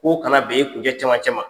K'o kana ben i kuncɛ cɛmancɛ ma.